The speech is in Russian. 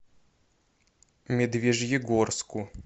медвежьегорску